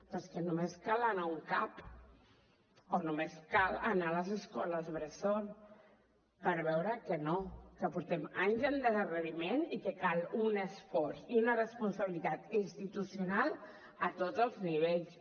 però és que només cal anar a un cap o només cal anar a les escoles bressol per veure que no que portem anys d’endarreriment i que cal un esforç i una responsabilitat institucional a tots els nivells